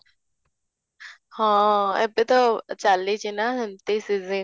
ହଁ, ଏବେ ତ ଚାଲିଛି ନା ସେମିତି season